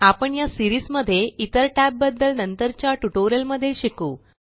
आपण या सीरीस मध्ये इतर टॅब बद्दल नंतरच्या ट्यूटोरियल मध्ये शिकू